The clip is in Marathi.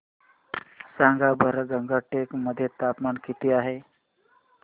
सांगा बरं गंगटोक मध्ये तापमान किती आहे